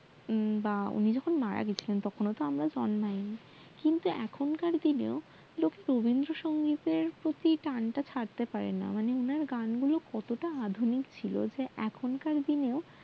বা উনি যখন মারা গেছিলেন তখন তহ আমরা জন্মাই নি কিন্তু এখনকার দিনে দেখ রবিন্দ্রসঙ্গিতের প্রতি টান টা থাকতে পারেনা মানে ওনার গান গুলো কতটা আধুনিক ছিল যে এখনকার দিনেও